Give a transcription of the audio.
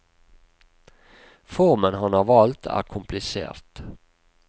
Formen han har valgt, er komplisert.